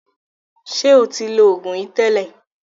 Ṣé ẹ ti lo oògùn yìí tẹ́lẹ̀?